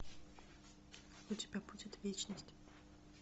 у тебя будет вечность